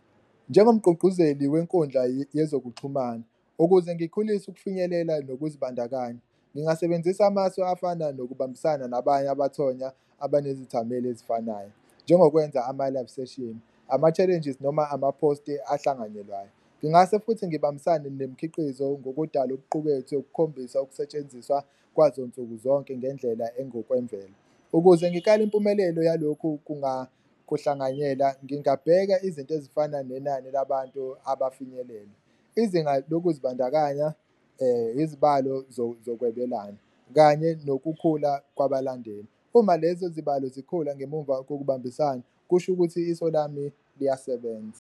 Njengomqqugquzeli wenkundla yezokuxhumana ukuze ngikhulise ukufinyelela nokuzibandakanya, ngingasebenzisa amasu afana nokubambisana nabanye abathonya abanezithameli ezifanayo njengokwenza ama-live session, ama-challenges noma amaphosti ahlanganyelwayo. Ngingase futhi ngibambisane nemikhiqizo ngokudala okuqukethwe, ukukhombisa ukusetshenziswa kwazo nsuku zonke ngendlela engokwemvelo. Ukuze ngikale impumelelo yalokhu kuhlanganyela ngingabheka izinto ezifana nenani labantu abafinyelela, izinga lokuzibandakanya, izibalo zokwebelana kanye nokukhula kwabalandeli. Uma lezo zibalo zikhula ngemuva kokubambisana kusho ukuthi iso lami liyasebenza.